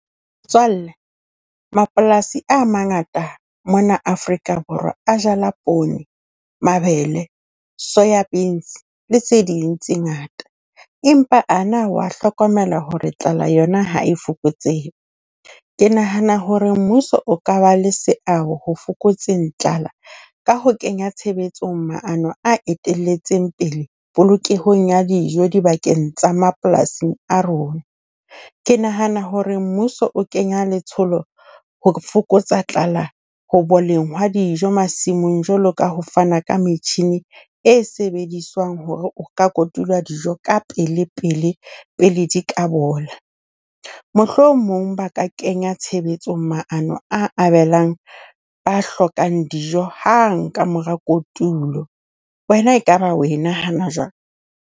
Motswalle mapolasi a mangata mona Afrika Borwa a jala poone, mabele, soya beans le tse ding tse ngata. Empa ana wa hlokomela hore tlala yona ha e fokotsehe? Ke nahana hore mmuso o ka ba le seabo ho fokotseng tlala ka ho kenya tshebetsong maano a eteletseng pele polokehong ya dijo dibakeng tsa mapolasing a rona. Ke nahana hore mmuso o kenya letsholo ho fokotsa tlala ho boleng hwa dijo masimong jwalo ka ho fana ka metjhine e sebediswang hore ho ka kotulwa dijo ka pelepele, pele di ka bola. Mohlomong ba ka kenya tshebetsong maano a abelang ba hlokang dijo hang ka mora kotulo. Wena e kaba o e nahana jwang?